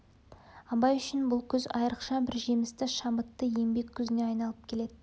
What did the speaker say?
абай үшін бұл күз айрықша бір жемісті шабытты еңбек күзіне айналып келеді